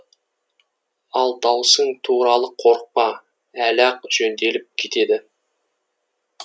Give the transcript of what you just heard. ал даусың туралы қорықпа әлі ақ жөнделіп кетеді